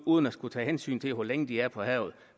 uden at skulle tage hensyn til hvor længe de er på havet